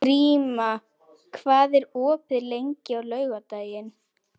Gríma, hvað er opið lengi á laugardaginn?